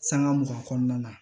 Sanŋa mugan kɔnɔna na